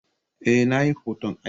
Eh, Nayi hoton ai